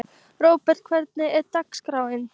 Róbjörg, hvernig er dagskráin?